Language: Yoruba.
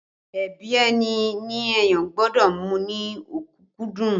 Ẹbí ẹni ni èèyàn gbọ́dọ̀ mú ní ọ̀kúkúdùn